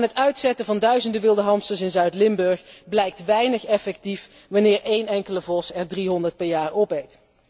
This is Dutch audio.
En het uitzetten van duizenden wilde hamsters in Zuid Limburg blijkt weinig effectief wanneer één enkele vos er driehonderd per jaar opeet.